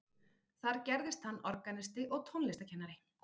þar gerðist hann organisti og tónlistarkennari